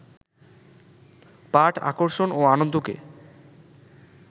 পাঠ আকর্ষণ ও আনন্দকে